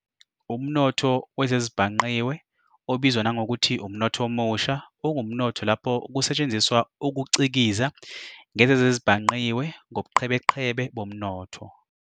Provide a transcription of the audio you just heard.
UmNotho wezezibhangqiwe obizwa nangokuthi umNotho oMusha, ungumnotho lapho kusetshenziswa ukucikiza ngezezezibhangqiwe ngobuqhebeqhebe bomnotho.